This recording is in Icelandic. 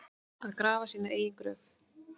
Að grafa sína eigin gröf